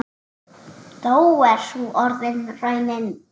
Þó er sú orðin raunin.